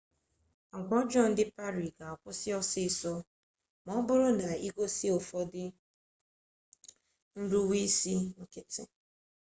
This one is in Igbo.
agwa ọjọọ ndị pari ga-akwụsị ọsịịsọ ma ọ bụrụ na i gosi ụfọdụ nruweisi nkịtị